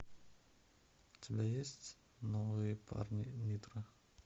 у тебя есть новые парни нитро